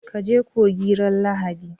Ka je coci ran lahadi?